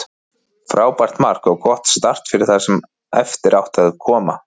Frábært mark og gott start fyrir það sem eftir átti að koma.